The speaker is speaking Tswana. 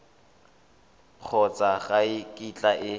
kgotsa ga e kitla e